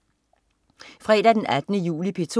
Fredag den 18. juli - P2: